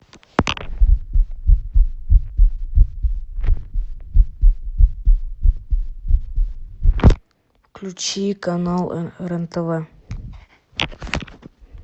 включи канал рен тв